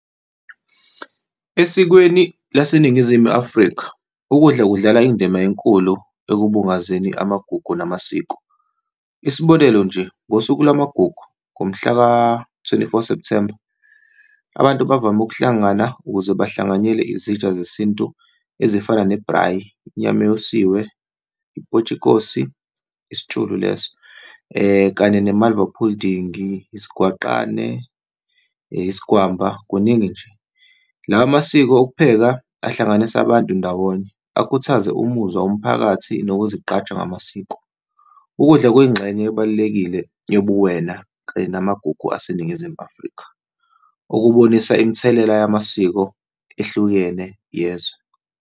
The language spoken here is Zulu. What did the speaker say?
Esikweni laseNingizimu Afrika, ukudla kudlala indima enkulu ekubungazeni amagugu namasiko. Isibonelo nje, ngosuku lwamagugu, ngomhla ka-twenty four September, abantu bavame ukuhlangana ukuze bahlanganyele izitsha zesintu ezifana ne-braai, inyama eyosiwe, i-potiekosie, isitshulo leso, kanye ne-malva pudding, isigwaqane, isigwama, kuningi nje. Lawo masiko ukupheka ahlanganise abantu ndawonye, akhuthaze umuzwa womphakathi nokuzigqaja ngamasiko. Ukudla kuyingxenye ebalulekile yobuwena kanye namagugu aseNingizimu Afrika, ukubonisa imithelela yamasiko ehlukene yezwe.